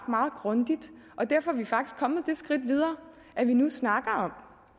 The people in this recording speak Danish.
meget grundigt derfor er vi faktisk kommet det skridt videre at vi nu snakker